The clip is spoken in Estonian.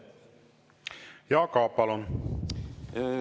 Jaak Aab, palun!